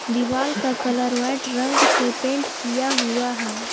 दीवाल का colour white रंग से पेंट किया हुआ है।